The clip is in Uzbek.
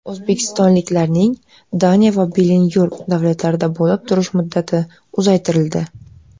O‘zbekistonliklarning Daniya va Benilyuks davlatlarida bo‘lib turish muddati uzaytirildi.